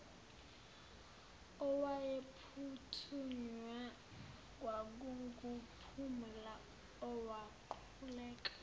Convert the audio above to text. owayephuthunywa kwakunguphumla owaquleka